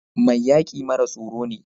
Mai yaki mara tsoro ne.